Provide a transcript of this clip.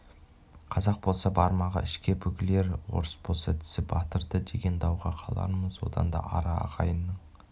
қазақ болса бармағы ішке бүгілер орыс болса тісі батырды деген дауға қалармыз одан да ара ағайынның